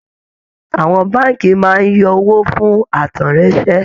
Àwọn Báànkì máa ń yọ owó fún àtẹ̀ráńṣẹ